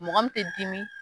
Mɔgɔ min tɛ dimi